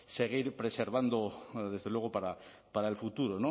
seguir preservando desde luego para el futuro